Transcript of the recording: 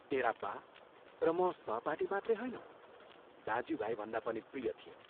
तेरा बा र म सहपाठी मात्रै होइनौँ, दाज्यू भाइभन्दा पनि प्रिय थियौं।